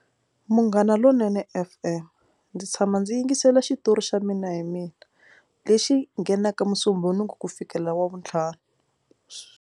Munghana Lonene F_M ndzi tshama ndzi yingisela xitori xa Mina Hi Mina lexi nghenaka musumbhunuki ku fikelela wavuntlhanu .